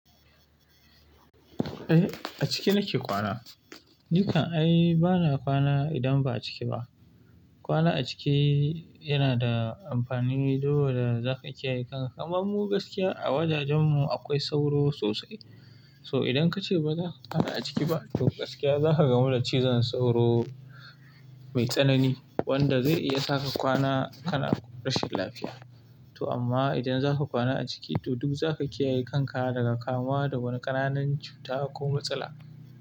Eh, a ciki nake kwana. Nikan ai bana kwana idan ba'a ciki ba. Kwana a ciki yana da amfani, duba da zaka kiyaye kan-- amma mu gaskiya, a wajajen mu akwai sauro sosai. So idan kace baza ka kwana a ciki ba, to gaskiya zaka gamu da cizon sauro, mai tsanani, wanda zai iya sa ka kwana kana rashin lafiya. To amma idan zaka kwana a ciki, to duk zaka kiyaye kan ka daga kamuwa da wani ƙananan cuta ko matsala.